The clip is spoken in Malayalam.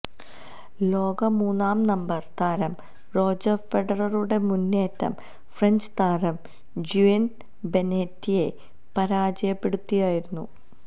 ലോക മൂന്നാം നമ്പര് താരം റോജര് ഫെഡററുടെ മുന്നേറ്റം ഫ്രഞ്ച് താരം ജൂിയന് ബെനേറ്റയെ പരാജയപ്പെടുത്തിയായിരുന്നു